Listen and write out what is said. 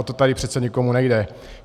O to tady přece nikomu nejde.